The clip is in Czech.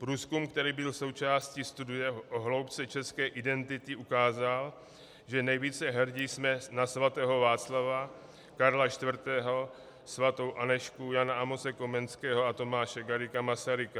Průzkum, který byl součástí studie o hloubce české identity, ukázal, že nejvíce hrdi jsme na svatého Václava, Karla IV., svatou Anežku, Jana Amose Komenského a Tomáše Garrigua Masaryka.